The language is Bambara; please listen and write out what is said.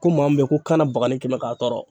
Ko maa min bɛyi ko kanabagani kɛmɛ k'a tɔɔrɔ.